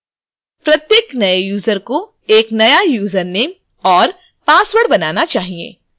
प्रत्येक नए यूजर को एक नया username और password बनाना चाहिए